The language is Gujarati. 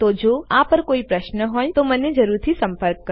તો જો આ પર કોઈપણ પ્રશ્નો હોય તો મને જરૂરથી સંપર્ક કરો